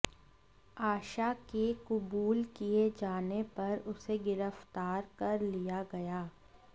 आशा के कुबूल किए जाने पर उसे गिरफ्तार कर लिया गया